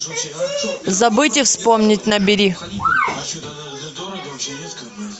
забыть и вспомнить набери